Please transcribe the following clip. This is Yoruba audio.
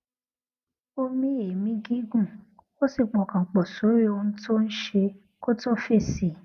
ó mí èémí gígùn ó sì pọkàn pò sórí ohun tó ń ṣe kó tó fèsì